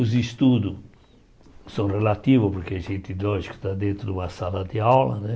Os estudos são relativos, porque a gente, nós, que está dentro de uma sala de aula, né?